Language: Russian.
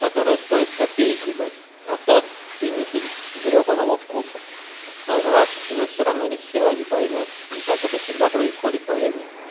которая стоит копейки ебать а тот ценитель гребаного вкуса наживший уже все равно нехера не поймёт не так это всегда происходит поверь мне